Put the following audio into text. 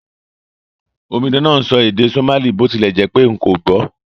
Omidan náà n sọ èdè Somali bó tilẹ̀ jẹ́pé n kò gbò